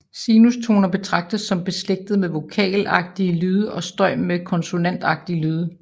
Sinustoner betragtes som beslægtet med vokalagtige lyde og støj med konsonantagtige lyde